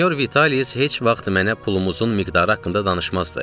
Sinyor Vitalis heç vaxt mənə pulumuzun miqdarı haqqında danışmazdı.